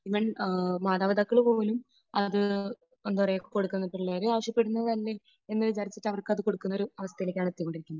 Even മാതാപിതാക്കൾ പോലും അത് എന്താ പറയുക കൊടുക്കുന്നു. പിള്ളേര് ആവശ്യപ്പെടുന്നത് അല്ലേ എന്ന് വിചാരിച്ചിട്ട് അവർക്ക് അത് കൊടുക്കുന്ന ഒരു അവസ്ഥയിലേക്ക് ആണ് എത്തിക്കൊണ്ടിരിക്കുന്നത്.